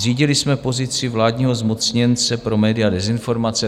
Zřídili jsme pozici vládního zmocněnce pro média a dezinformace.